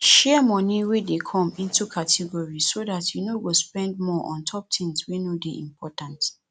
share moni wey dey come into categories so dat you no go spend more ontop tins wey no dey important